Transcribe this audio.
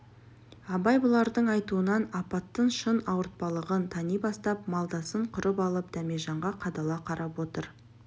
абай бұлардың айтуынан апаттың шын ауыртпалығын тани бастап малдасын құрып алып дәмежанға қадала қарап отыр